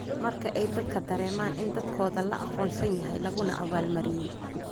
Marka ay dadku dareemaan in dadaalkooda la aqoonsan yahay laguna abaal-mariyey.